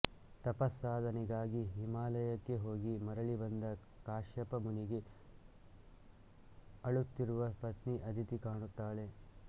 ತಪತ್ಸಾಧನೆಗಾಗಿ ಹಿಮಾಲಯಕ್ಕೆ ಹೋಗಿ ಮರಳಿ ಬಂದ ಕಾಶ್ಯಪ ಮುನಿಗೆ ಅಳುತ್ತಿರುವ ಪತ್ನಿ ಅದಿತಿ ಕಾಣುತ್ತಾಳೆ